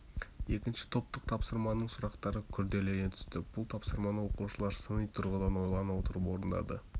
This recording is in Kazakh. екінші топтық тапсырманың сұрақтары күрделене түсті бұл тапсырманы оқушылар сыни тұрғыдан ойлана отырып орындады